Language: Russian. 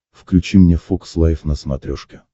включи мне фокс лайф на смотрешке